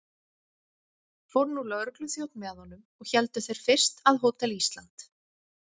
Fór nú lögregluþjónn með honum, og héldu þeir fyrst að Hótel Ísland.